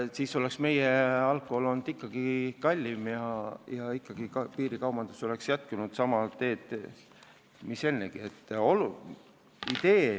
Siis oleks meie alkohol ikkagi kallim ja ka piirikaubandus oleks jätkunud nii nagu seni.